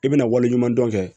I bɛna waleɲuman dɔn